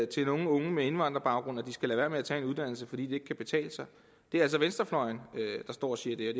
til unge med indvandrerbaggrund at de skal lade være med at tage en uddannelse fordi det ikke kan betale sig det er altså venstrefløjen der står og siger